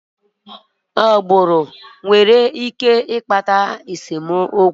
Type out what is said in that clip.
Agbụrụ nwere ike ịkpata esemokwu.